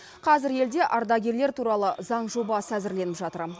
қазір елде ардагерлер туралы заң жобасы әзірленіп жатыр